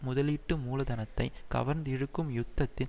முதலீட்டு மூலதனத்தை கவர்ந்திழுக்கும் யுத்தத்தில்